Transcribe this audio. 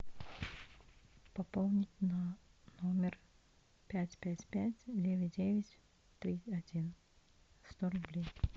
пополнить на номер пять пять пять девять девять три один сто рублей